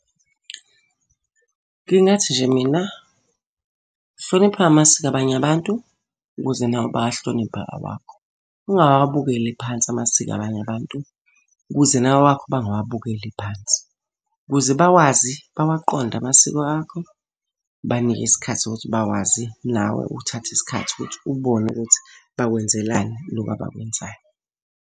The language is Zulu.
Ngingathi nje mina, hlonipha amasiko abanye abantu ukuze nawe bawahloniphe awakho. Ungawabukeli phansi amasiko abanye abantu ukuze nawe awakho bangawabukeli phansi. Ukuze bawazi bawaqonde amasiko akho, banike isikhathi sokuthi bawazi, nawe uthathe isikhathi ukuthi ubone ukuthi bakwenzelani lokhu abakwenzayo.